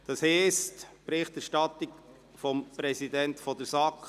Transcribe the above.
Das heisst, als erstes kommt die Berichterstattung des Präsidenten der SAK.